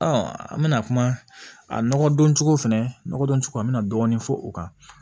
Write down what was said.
an bɛna kuma a nɔgɔdɔncogo fɛnɛ nɔgɔdɔn cogo an bɛna dɔɔni fɔ o kan